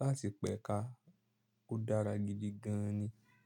láti pẹ́ ká, ó dára gidi gan ni.